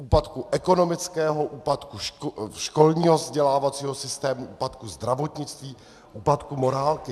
Úpadku ekonomického, úpadku školního vzdělávacího systému, úpadku zdravotnictví, úpadku morálky.